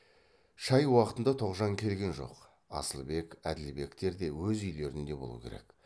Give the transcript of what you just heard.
шай уақытында тоғжан келген жоқ асылбек әділбектер де өз үйлерінде болу керек